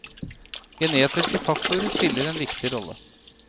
Genetiske faktorer spiller en viktig rolle.